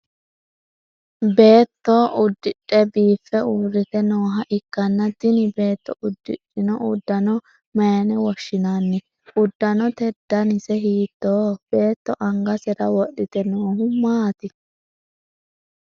Beetto udidhe biife uurite nooha ikanna tinni beetto udidhino udanno mayine woshinnanni? Udanote dannise hiittooho? Beetto angasera wodhite noohu maati?